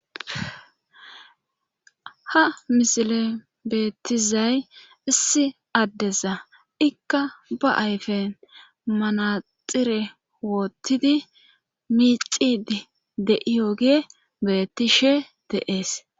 Ha misile beettizay issi addesa ikka ba7ayfen manaxire woottidi miicidi deiyo gee bettishe deees